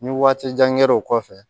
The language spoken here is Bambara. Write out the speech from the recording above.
Ni waati jan kɛra o kɔfɛ